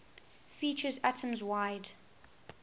features atoms wide